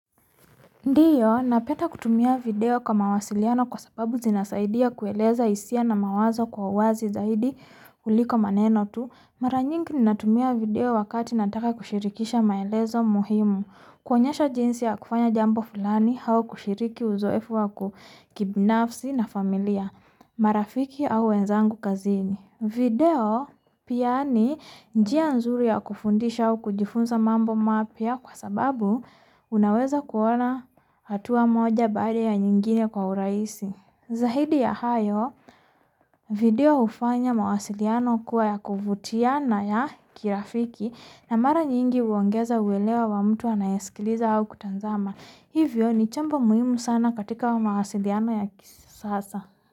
Ndiyo, napenda kutumia video kwa mawasiliano kwa sababu zinasaidia kueleza hisia na mawazo kwa wazi zaidi kuliko maneno tu. Mara nyingi ninatumia video wakati nataka kushirikisha maelezo muhimu. Kuonyesha jinsi ya kufanya jambo fulani au kushiriki uzoefu wa kibinafsi na familia. Marafiki au wenzangu kazini. Video pia ni njia nzuri ya kufundisha au kujifunza mambo mapya kwa sababu unaweza kuona hatua moja baada ya nyingine kwa urahisi. Zaidi ya hayo, video hufanya mawasiliano kuwa ya kuvutia na ya kirafiki, na mara nyingi huongeza uelewa wa mtu anayesikiliza au kutazama. Hivyo ni chombo muhimu sana katika mawasiliano ya kisasa.